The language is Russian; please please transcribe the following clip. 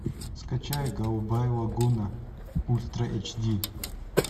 скачай голубая лагуна ультра эйч ди